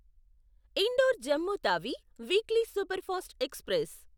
indoor Jammu Tawi weekly superfast express